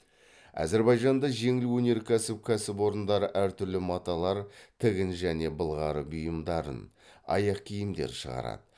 әзірбайжанда жеңіл өнеркәсіп кәсіпорындары әртүрлі маталар тігін және былғары бұйымдарын аяқ киімдер шығарады